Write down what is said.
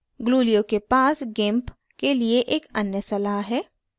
glulio के पास gimp के लिए एक अन्य सलाह है